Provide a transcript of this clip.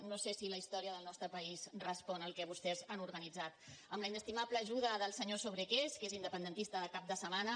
no sé si la història del nostre país respon al que vostès han organitzat amb la inestimable ajuda del senyor sobrequés que és independentista de cap de setmana